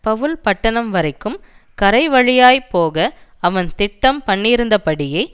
பவுல் பட்டணம் வரைக்கும் கரை வழியாய் போக அவன் திட்டம் பண்ணியிருந்தபடியே